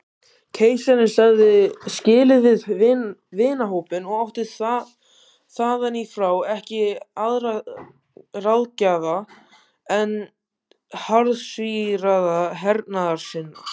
Keisarinn sagði skilið við vinahópinn og átti þaðanífrá ekki aðra ráðgjafa en harðsvíraða hernaðarsinna.